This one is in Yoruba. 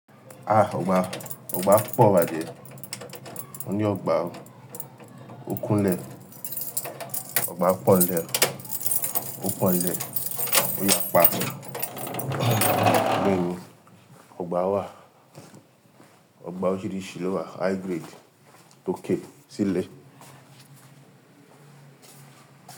Ah! Ogba, ogba púpọ̀ bàjẹ́. Mo ní ọgbà o. Ó kún lẹ̀, ọgbà pọ̀ n lẹ̀. Ó pọ̀ n lẹ̀, ó yapa. Bẹẹni ní, ọgbà wà. Ọgbà oríṣiríṣi ló wà. High grade, tòkè, tílẹ̀